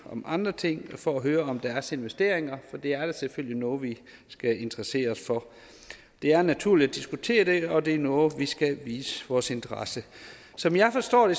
om andre ting for at høre om deres investeringer for det er da selvfølgelig noget vi skal interessere os for det er naturligt at diskutere det og det er noget vi skal vise vores interesse som jeg forstår